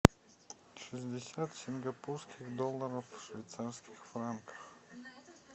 шестьдесят сингапурских долларов в швейцарских франках